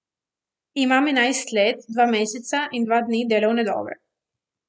Imam enajst let, dva meseca in dva dni delovne dobe.